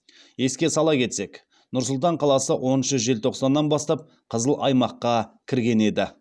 еске сала кетсек нұр сұлтан қаласы оныншы желтоқсаннан бастап қызыл аймаққа кірген еді